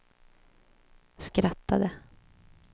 skrattade